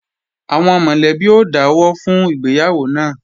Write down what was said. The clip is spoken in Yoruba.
Àwọn mọ̀lẹ́bí ó dáwọ́ fún ìgbéyàwó náà